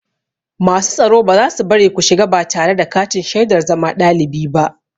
Masu tsaro ba za su bari ku shiga ba tare da katin shaidar zama ɗalibi ba.